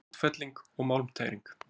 Útfelling og málmtæring